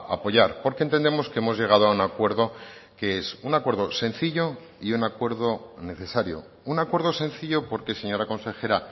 apoyar porque entendemos que hemos llegado a un acuerdo que es un acuerdo sencillo y un acuerdo necesario un acuerdo sencillo porque señora consejera